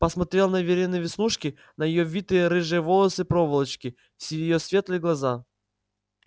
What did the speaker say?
посмотрел на верины веснушки на её витые рыжие волосы-проволочки в её светлые глаза